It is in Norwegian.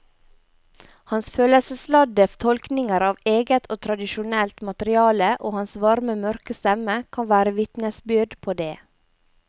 Hans følelsesladde tolkninger av eget og tradisjonelt materiale og hans varme mørke stemme kan være vitnesbyrd på det.